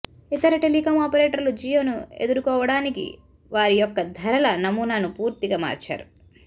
ఇతర టెలికాం ఆపరేటర్లు జియోను ఎదురుకోవడానికి వారి యొక్క ధరల నమూనాను పూర్తిగా మార్చారు